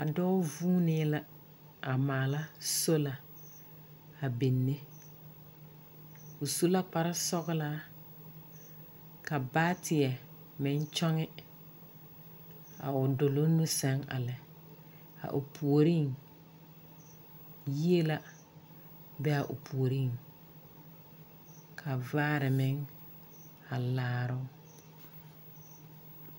A dɔɔ vuunee la a maala sola a binne. O su la kparesɔglaa ka baateɛ meŋ kyɔŋe, a o doloŋ nu sɛŋ a lɛ. a o puoriŋ yie la be a o puoriŋ ka vaare meŋ a laaroo.